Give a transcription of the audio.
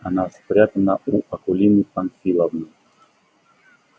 она спрятана у акулины памфиловны